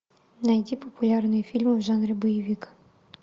найти популярные фильмы в жанре боевик